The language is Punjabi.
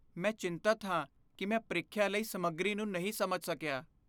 ਮੈਂ ਚਿੰਤਤ ਹਾਂ ਕਿ ਮੈਂ ਪ੍ਰੀਖਿਆ ਲਈ ਸਮੱਗਰੀ ਨੂੰ ਨਹੀਂ ਸਮਝ ਸਕਿਆ।